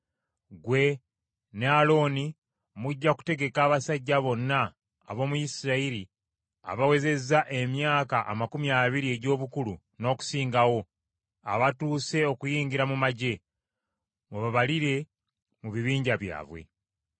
Ggwe ne Alooni mujja kutegeka abasajja bonna ab’omu Isirayiri abawezezza emyaka amakumi abiri egy’obukulu n’okusingawo, abatuuse okuyingira mu magye, mubabalire mu bibinja byabwe.